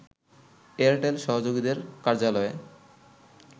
Airtel সহযোগীদের কার্যালয়ে